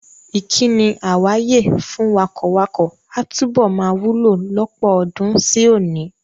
Ìkíni "àwàye" fún wakọ̀wakọ̀ a túbọ̀ máa wúlò lọ́pọ̀ ọdún sí òní.